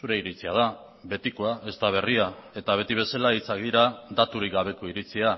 zure iritzia da betikoa ez da berria eta beti bezala hitzak dira daturik gabeko iritzia